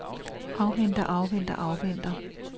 afventer afventer afventer